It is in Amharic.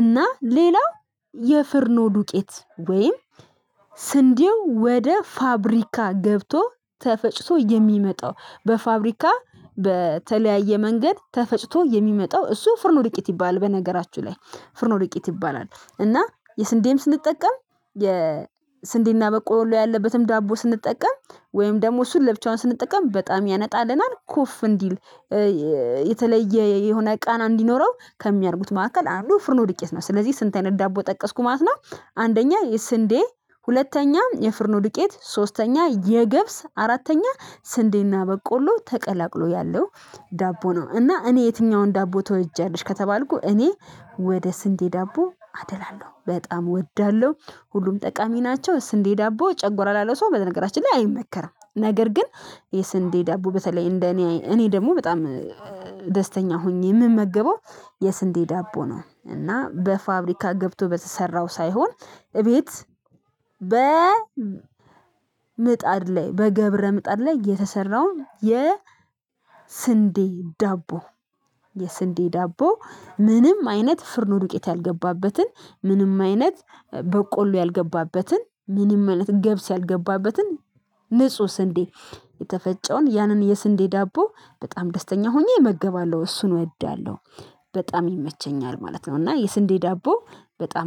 እና ሌላው የፍርኖ ዱቄት ወይም ስንዴው ወደ ፋብሪካ ገብቶ ተፈጭቶ የሚመጣው በፋብሪካ በተለያየ መንገድ ተፈጭቶ የሚመጣው እሱ ፍርን ወድቂት ይባል በነገራችሁ ላይ ፍርን ዱቄት ይባላል። እና የስንዴም ስንጠቀም የስንዴና በቆሎ ያለበትም ዳቦ ስንጠቀም ወይም ደግሞ እሱን ለብቻውን ስንጠቀም በጣም ያነጣልናል ኮፍ እንዲል የተለየ የሆነ ቃና እንዲኖረው ከሚያደርጉት ማዕከል አሉ ፍርኖ ድቄት ነው ስለዚህ ስንት አይነት ዳቦ ጠቀስኩ ማለት ነው አንደኛ የስንዴ ሁለተኛ የፍርኖ ዱቄት ሶስተኛ የገብስ አራተኛ ስንዴና በቆሎ ተቀላቅሎ ያለው። ዳቦ ነው እና እኔ የትኛውን ዳቦ ተወጃለሽ? ከተባልኩ እኔ ወደ ስንዴ ዳቦ አደላለው በጣም እወዳለው ሁሉም ጠቃሚ ናቸው። ስንዴ ዳቦ ጨጎራ ላለው ሰው በነገራችን ላይ አይመከርም ነገር ግን የስንዴ ዳቦ በተለይ እንደ እኔ እኔ ደግሞ በጣም ደስተኛ ሆኜ ምን መገበው የስንዴ ዳቦ ነው እና በፋብሪካ ገብቶ በተሰራው ሳይሆን እቤት በ ምጣድ ላይ በገብረ ምጣድ ላይ የተሰራውን የ ስንዴ ዳቦ የስንዴ ዳቦ ምንም አይነት ፍርኑ ዱቄት ያልገባበትን ምንም አይነት በቆሎ ያልገባበትን ምንም አይነት ገብስ ያልገባበትን ንጹህ ስንዴ የተፈጨውን ያንን የስንዴ ዳቦ በጣም ደስተኛ ሆኜ እመገባለሁ እሱን እወዳለው። በጣም ይመቸኛል ማለት ነው እና የስንዴ ዳቦ በጣም